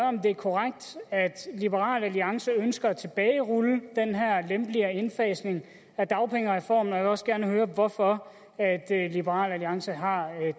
om det er korrekt at liberal alliance ønsker at tilbagerulle den her lempeligere indfasning af dagpengereformen og jeg vil også gerne høre hvorfor liberal alliance har